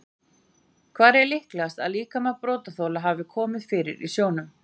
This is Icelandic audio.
Hvar er líklegast að líkama brotaþola hafi verið komið fyrir í sjó?